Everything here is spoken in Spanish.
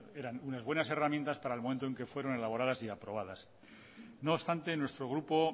eran unas buenas herramientas para el momento en el que fueron elaboradas y aprobadas no obstante nuestro grupo